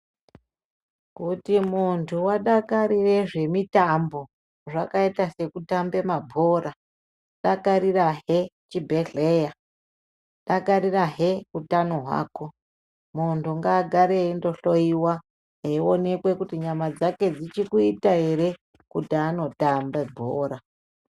Kuti muntu wadakarire zvemitambo zvakaita sekutamba mabhora dakarirahe chibhehleya dakarirahe utano hwako, muntu ngagare eindohloiwa kuti aonekwe kuti nyama dzake dzichikuita ere kuti andotamba bhora.